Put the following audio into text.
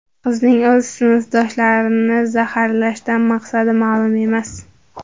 Qizning o‘z sinfdoshlarini zaharlashdan maqsadi ma’lum emas.